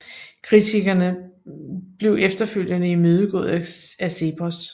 Kritikken blev efterfølgende imødegået af CEPOS